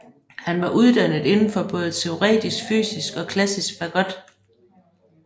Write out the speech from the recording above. Han var uddannet inden for både teoretisk fysik og klassisk fagot